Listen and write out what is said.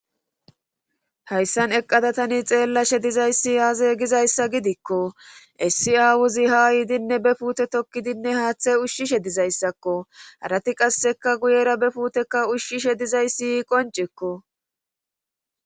hayssan eqqada tani xeellashe dizayssi aaza gizayssa gidikko essi aawuzi ha yiidinne be fuute tokkidinne haaththay ushshishe dizayssakko harati qasseka guyera be fuuteka ushshishe dizayssi qoncekko